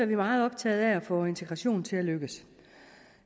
vi meget optagede af at få integrationen til at lykkes